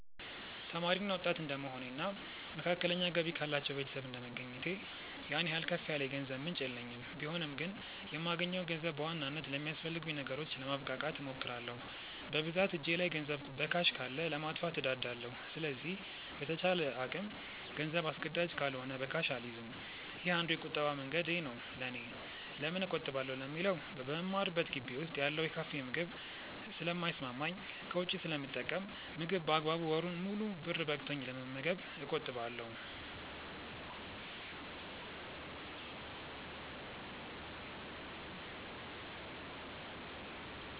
ተማሪ እና ወጣት እድንደመሆኔ እና መካከለኛ ገቢ ካላቸው ቤተሰብ እንደመገኘቴ ያን ያህል ከፍ ያለ የገንዘብ ምንጭ የለኝም ቢሆንም ግን የማገኘውን ገንዘብ በዋናነት ለሚያስፈልጉኝ ነገሮች ለማብቃቃት እሞክራለው። በብዛት እጄ ላይ ገንዘብ በካሽ ካለ ለማጥፋት እንደዳለው ስለዚህ በተቻለ አቅም ገንዘብ አስገዳጅ ካልሆነ በካሽ አልይዝም። ይህ አንዱ የቁጠባ መንገዴ ነው ለኔ። ለምን እቆጥባለው ለሚለው በምማርበት ግቢ ውስጥ ያለው የካፌ ምግብ ስለ ልተሰማማኝ ከውጪ ስለምጠቀም ምግብ በአግባቡ ወሩን ሙሉ ብር በቅቶኝ ለመመገብ እቆጥባለው።